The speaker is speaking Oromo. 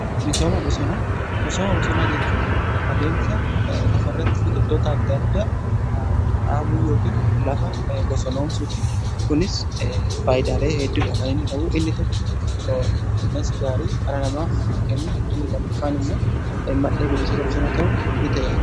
Misooma bosonaa: Misooma bosonaa jechuun adeemsa lafa irratti biqiltoota adda addaa dhaabuu yookiin lafa bosonoomsuuti. Kunis faayidalee hedduudha kan inni qabu. Inni tokko qilleensa gaarii dhala namaaf kenna. Inni lammaffaan immoo mandhee bineensota bosonaa ta'uun ni tajaajila.